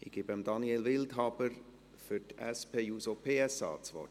Ich gebe Daniel Wildhaber das Wort für die SP-JUSO-PSA-Fraktion.